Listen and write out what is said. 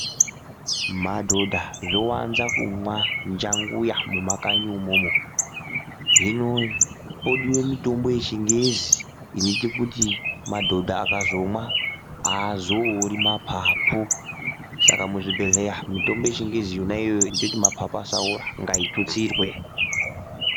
Madhodha zvowanza kumwa njanguya mumakanyi imomo. Hino podiwe mitombo yeChiNgezi inoite kuti madhodha akazomwa haazoori mapapu. Saka muzvibhedhleya mitombo yeChiNgezi yona iyoyo inoite kuti mapapu asaora ngaitutsirwe.